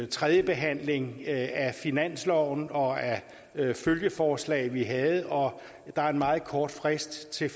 tredjebehandling af finansloven og af følgeforslag vi havde og der er en meget kort frist til